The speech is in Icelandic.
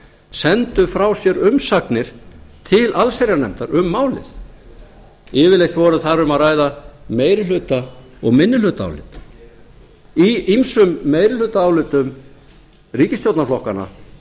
sendu frá sér umsagnir til allsherjarnefndar um málið yfirleitt var þar um að ræða meirihluta og minnihlutaálit í ýmsum meirihlutaálitum ríkisstjórnarflokkanna